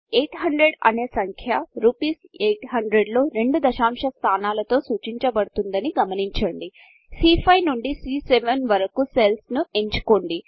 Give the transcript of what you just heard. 800 అనేసంఖ్య రూపీస్ 800 లో 2 దశాంశ స్థానాలతో సూచించబడుతుందని గమనించండి సీ5 నుండి సీ7 వరకు సెల్స్ ని ఎంచుకోండి